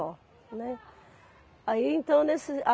Só, né? Aí então nesses a